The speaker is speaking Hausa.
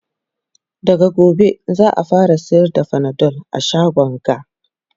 daga gobe za'a fara sayar da Panadol a shagon ga